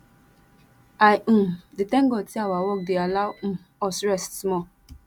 i um dey thank god say our work dey allow um us rest small